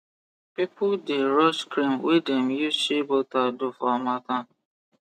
people the rush cream wey dem use shea butter do for harmattan